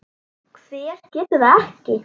Hver getur það ekki?